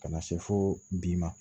Ka na se fo bi ma